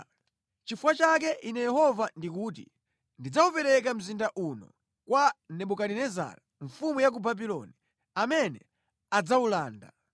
Nʼchifukwa chake ine Yehova ndikuti: Ndidzawupereka mzinda uno kwa Nebukadinezara mfumu ya ku Babuloni, amene adzawulanda.